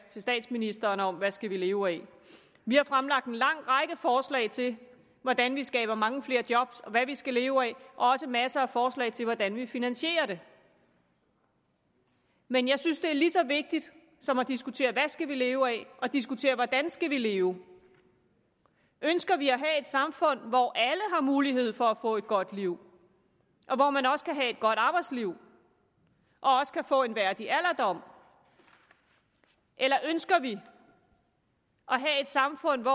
til statsministeren om hvad vi skal leve af vi har fremlagt en lang række forslag til hvordan vi skaber mange flere job og hvad vi skal leve af også masser af forslag til hvordan vi finansierer det men jeg synes det er lige så vigtigt som at diskutere hvad vi skal leve af at diskutere hvordan vi skal leve ønsker vi at have samfund hvor alle har mulighed for at få et godt liv og hvor man også kan have godt arbejdsliv og også kan få en værdig alderdom eller ønsker vi at have samfund